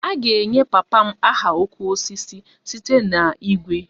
A ga-enye papa m aha 'oke osisi' site na igwe